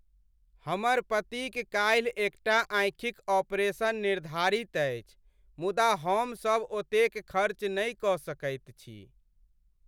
हमर पतिक काल्हि एकटा आँखिक ऑपरेशन निर्धारित अछि मुदा हमसभ ओतेक खर्च नहि कऽ सकैत छी।